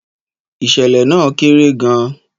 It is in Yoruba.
Ìṣẹ̀lẹ̀ náà kéré gan-an.